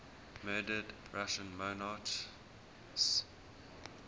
murdered russian monarchs